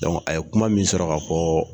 Dɔnku a ye kuma min sɔrɔ ka fɔ